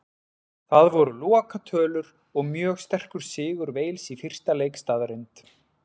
Það voru lokatölur og mjög sterkur sigur Wales í fyrsta leik staðreynd.